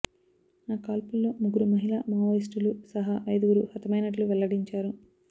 ఆ కాల్పుల్లో ముగ్గురు మహిళా మావోయిస్టులు సహా ఐదుగురు హతమైనట్లు వెల్లడించారు